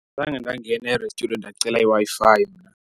Zange ndangena e-restaurant ndacela iWi-Fi mna.